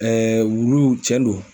wulu cɛn don